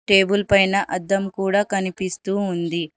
Table పైన అద్దం కూడా కనిపిస్తూ ఉంది.